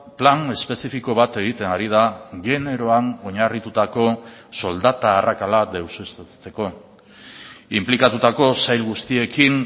plan espezifiko bat egiten ari da generoan oinarritutako soldata arrakala deuseztatzeko inplikatutako sail guztiekin